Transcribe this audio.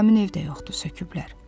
İndi həmin ev də yoxdur, söküblər.